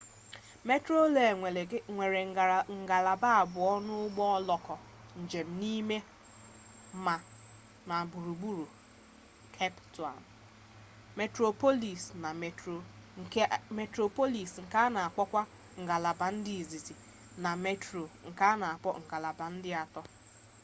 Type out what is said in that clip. metroreel nwere ngalaba abụọ n'ụgbọ oloko njem n'ime ma na gburugburu kep taụn: metroplọs nke a na akpọkwa ngalaba nke izizi na metro nke a na akpọ ngalaba nke atọ